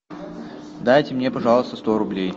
дайте мне пожалуйста сто рублей